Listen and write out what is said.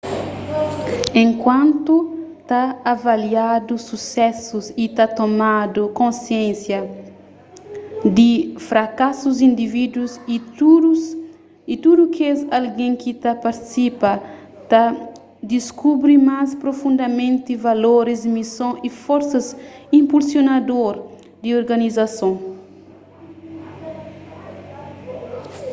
enkuantu ta avaliadu susesus y ta tomadu konsiénsia di frakasus indivídus y tudu kes algen ki ta partisipa ta diskubri más profundamenti valoris mison y forsas inpulsionador di organizason